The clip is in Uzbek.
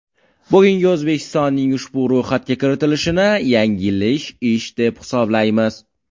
Bugungi O‘zbekistonning ushbu ro‘yxatga kiritilishini yanglish ish, deb hisoblaymiz.